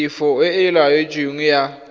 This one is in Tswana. tefo e e laotsweng ya